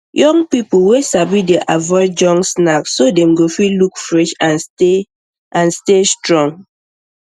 young people wey sabi dey avoid junk snack so dem go fit look fresh and stay and stay strong